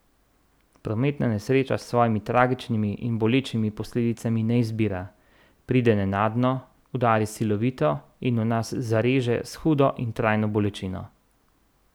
Prometna nesreča s svojimi tragičnimi in bolečimi posledicami ne izbira, pride nenadno, udari silovito in v nas zareže s hudo in trajno bolečino.